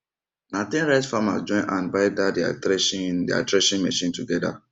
na ten rice farmers join hand buy dat deir threshing deir threshing machine together